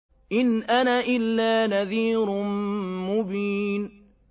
إِنْ أَنَا إِلَّا نَذِيرٌ مُّبِينٌ